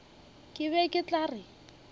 ke be ke tla re